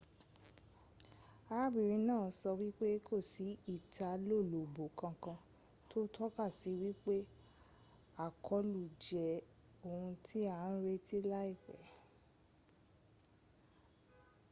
arábìnrin náà sọ wípé kò sí ìtalólobó kankan tó tọ́ka sí wípé àkọlù jẹ ohun ti à ń retí láìpẹ́